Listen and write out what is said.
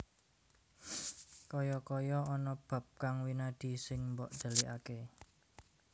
Kaya kaya ana bab kang winadi sing mbok dhelikaké